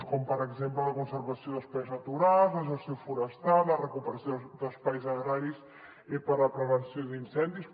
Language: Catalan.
com per exemple la conservació d’espais naturals la gestió forestal la recuperació d’espais agraris per a la prevenció d’incendis